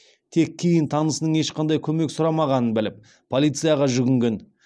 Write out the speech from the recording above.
тек кейін танысының ешқандай көмек сұрамағанын біліп полицияға жүгінген